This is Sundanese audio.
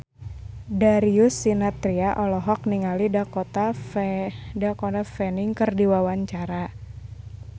Darius Sinathrya olohok ningali Dakota Fanning keur diwawancara